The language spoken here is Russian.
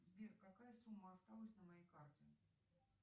сбер какая сумма осталась на моей карте